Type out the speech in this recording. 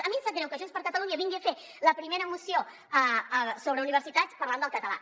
a mi em sap greu que junts per catalunya vingui a fer la primera moció sobre universitats parlant del català